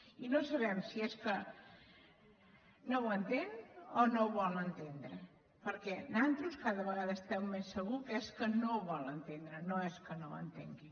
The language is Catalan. i no sabem si és que no ho entén o no ho vol entendre perquè nosaltres cada vegada estem més segurs que és que no ho vol entendre no és que no ho entengui